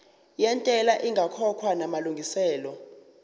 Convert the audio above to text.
yentela ingakakhokhwa namalungiselo